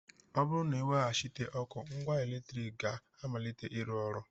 Ọ bụrụ na e weghachịte ọkụ, ngwa eletrik ga-amalite ịrụ ọrụ